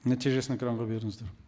нәтижесін экранға беріңіздер